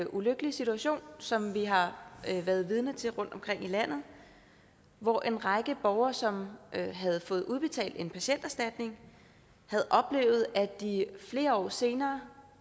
ulykkelige situation som vi har været vidne til rundtomkring i landet hvor en række borgere som havde fået udbetalt en patienterstatning havde oplevet at de flere år senere